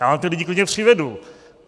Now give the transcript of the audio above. Já vám ty lidi klidně přivedu.